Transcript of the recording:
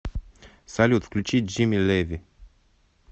салют включи джимми леви